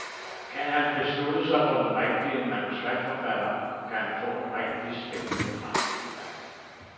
Kan han beslutte sig for den rigtige manuskriptforfatter, kan han få en rigtig spændende fremtid.